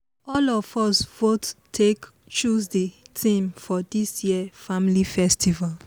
all of us vote take choose the theme for this year family festival